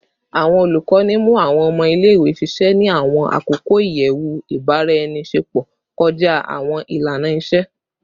Awọn olukọni mu awọn ọmọ ile-iwe ṣiṣẹ ni awọn akoko iyẹwu ibaraenisepo kọja awọn ilana-iṣe